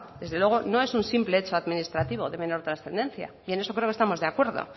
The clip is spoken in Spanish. desde luego no es un simple hecho administrativo de menor trascendencia y en eso creo que estamos de acuerdo